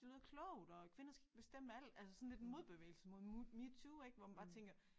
Det lyder klogt og kvinder skal ikke bestemme alt altså sådan lidt en modbevægelse mod muh MeToo ik hvor man bare tænker